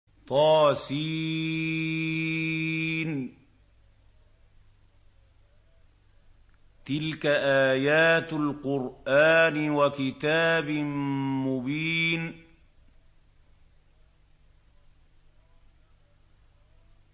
طس ۚ تِلْكَ آيَاتُ الْقُرْآنِ وَكِتَابٍ مُّبِينٍ